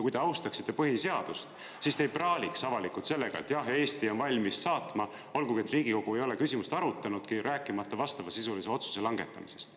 Kui te austaksite põhiseadust, siis te ei praaliks avalikult sellega, et jah, Eesti on valmis saatma, olgugi et Riigikogu ei ole küsimust arutanudki, rääkimata vastavasisulise otsuse langetamisest.